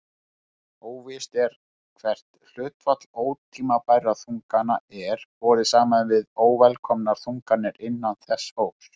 Óvíst er hvert hlutfall ótímabærra þungana er borið saman við óvelkomnar þunganir innan þessa hóps.